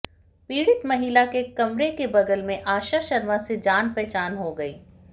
पीड़ित महिला के कमरे के बगल में आशा शर्मा से जान पहचान हो गई